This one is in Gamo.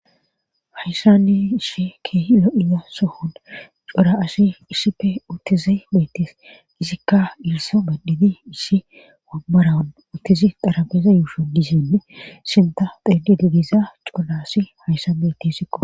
Hayssani ishi keehi lo7iya sohona cora asi issife uttizi beettis izikka ilsa baditi ishi wabarawan uttizi darabeeza yuusho dizinne sinta xeedi digiza cora asi hayssa bettesikko.